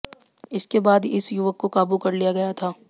इसके बाद इस युवक को काबू कर लिया गया था